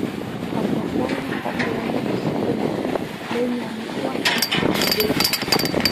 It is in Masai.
tapasali tadalayu osingolioni loinyang'utua nitamagil